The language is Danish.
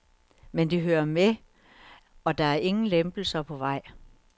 Men det hører med, og der er ingen lempelser på vej.